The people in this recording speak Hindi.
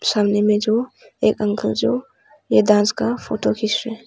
सामने में जो एक अंकल जो ये डांस का फोटो खींच रहे हैं।